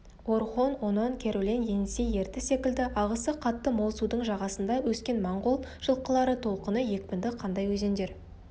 орхон онон керулен енисей ертіс секілді ағысы қатты мол судың жағасында өскен монғол жылқылары толқыны екпінді қандай өзендер